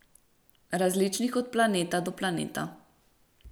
Različnih od planeta do planeta.